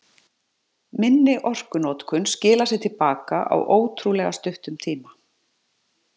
Minni orkunotkun skilar sér til baka á ótrúlega stuttum tíma.